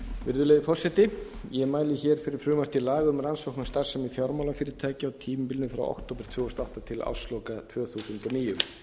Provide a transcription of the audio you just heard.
virðulegi forseti ég mæli hér fyrir frumvarpi til laga um rannsókn á starfsemi fjármálafyrirtækja á tímabilinu frá október tvö þúsund og átta til ársloka tvö þúsund og níu